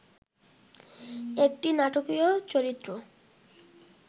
একটি নাটকীয় চরিত্র